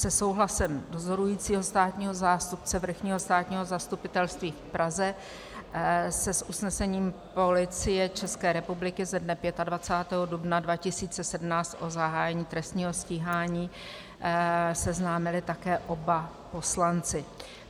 Se souhlasem dozorujícího státního zástupce Vrchního státního zastupitelství v Praze se s usnesením Policie České republiky ze dne 25. dubna 2017 o zahájení trestního stíhání seznámili také oba poslanci.